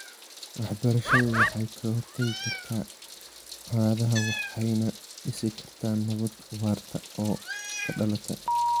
Waxbarashadu waxay ka hortagi kartaa colaadaha waxayna dhisi kartaa nabad waarta oo ka dhalata .